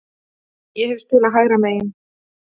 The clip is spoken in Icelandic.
Ég hef spilað hægra megin.